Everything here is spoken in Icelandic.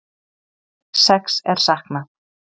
Sex er saknað